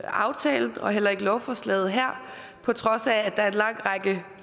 aftalen og heller ikke lovforslaget på trods af at der er en lang række